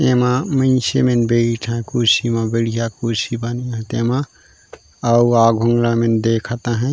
एमा मइनसे मन बईठा कुर्सी म बढ़िया कुर्सी बने हे तेमा आऊ आघु मा ला ये मन देखत हैय--